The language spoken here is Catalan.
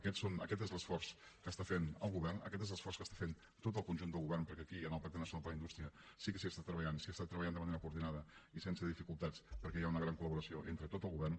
aquest és l’esforç que està fent el govern aquest és l’esforç que està fent tot el conjunt del govern perquè aquí en el pacte nacional per a la indústria sí que s’hi està treballant s’hi està treballant de manera coordinada i sense dificultats perquè hi ha una gran col·laboració entre tot el govern